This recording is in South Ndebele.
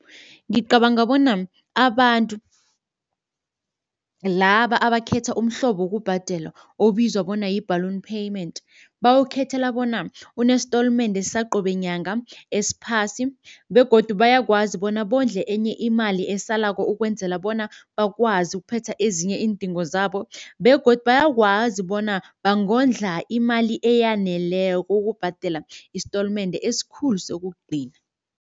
Ngicabanga bona abantu laba abakhetha umhlobo wokubhadela obizwa bona yi-balloon payment bawukhethela bona unesitolimende saqobe nyanga esiphasi begodu bayakwazi bona bondle enye imali esalako ukwenzela bona bakwazi ukuphetha ezinye iindingo zabo begodu bayakwazi bona bangondla imali eyaneleko ukubhadela isitolimende esikhulu sokugcina.